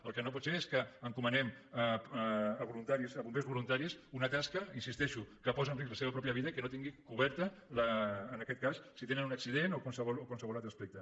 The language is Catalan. el que no pot ser és que encomanem a voluntaris a bombers voluntaris una tasca hi insisteixo que posa en risc la seva pròpia vida i que no tinguin cobert en aquest cas si tenen un accident o qualsevol altre aspecte